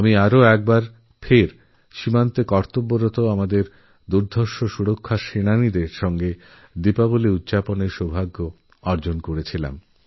আবার একবারসীমান্তে নিযুক্ত আমাদের বীর প্রতিরক্ষা বাহিনীর সঙ্গে দীপাবলী পালনের সৌভাগ্য হলআমার